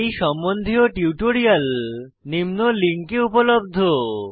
এই সম্বন্ধীয় টিউটোরিয়াল নিম্ন লিঙ্কে উপলব্ধ